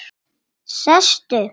Sestu